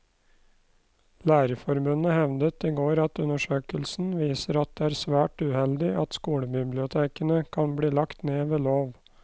Lærerforbundet hevdet i går at undersøkelsen viser at det er svært uheldig at skolebibliotekene kan bli lagt ned ved lov.